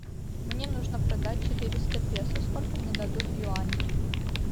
мне нужно продать четыреста песо сколько мне дадут юаней